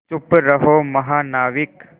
चुप रहो महानाविक